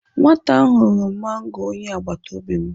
Nwata ahụ ghọrọ mango onye agbataobi m..